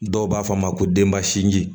Dɔw b'a fɔ a ma ko denba sinji